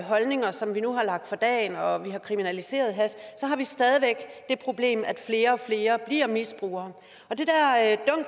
holdninger som vi nu har lagt for dagen og af at vi har kriminaliseret hash har vi stadig væk det problem at flere og flere bliver misbrugere